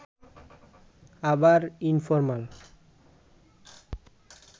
আবার ইনফরমাল